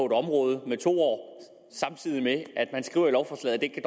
et område samtidig med at man skriver i lovforslaget at